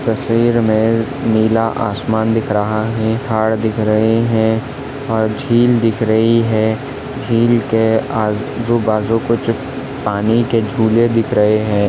तस्वीर मे नीला आसमान दिख रहा है झाड़ दिख रहे है और झील दिख रही है झील के आजु बाजु कुछ पानी के झूले दिख रहे है।